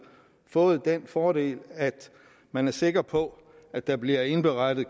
fået den fordel at man er sikker på at der bliver indberettet